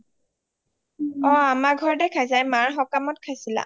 অ আমাৰ ঘৰতে খাইচা এই মাৰ সকামতে খাইছিলা